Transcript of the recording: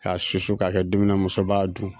K'a susu ka kɛ dumuni musoba dun.